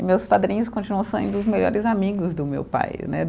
E meus padrinhos continuam sendo os melhores amigos do meu pai, né?